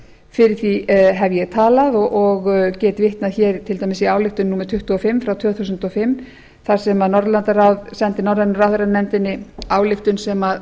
fyrir því hef ég talað og get vitnað í ályktun númer tuttugu og fimm tvö þúsund og fimm þar sem norðurlandaráð sendi norrænu ráðherranefndinni ályktun sem